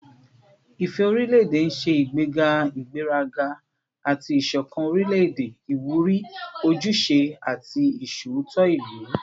Ifẹ orilẹ-ede n ṣe igbega igberaga ati isokan orilẹ-ede, iwuri ojuse ati iṣootọ ilu